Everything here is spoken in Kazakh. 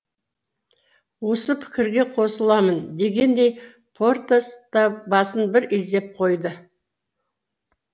осы пікірге қосыламын дегендей портос та басын бір изеп қойды